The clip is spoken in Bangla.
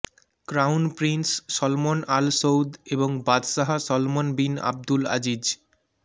crown prince Salman Al Saud এবং বাদশাহ সলমন বিন আবদুল আজিজ